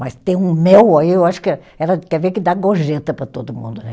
Mas tem um mel aí, eu acho que ela quer ver que dá gorjeta para todo mundo, né?